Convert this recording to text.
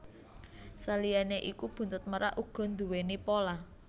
Saliyané iku buntut merak uga nduwèni pola